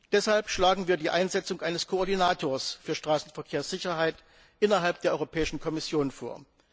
Deshalb schlagen wir die Einsetzung eines Koordinators für Straßenverkehrssicherheit innerhalb der Europäischen Kommission vor.